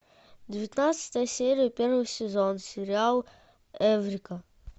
девятнадцатая серия первый сезон сериал эврика